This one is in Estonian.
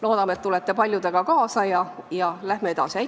Loodame, et tulete paljudega neist kaasa ja me saame edasi minna.